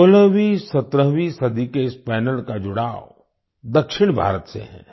16वीं17वीं सदी के इस पनेल पैनल का जुड़ाव दक्षिण भारत से है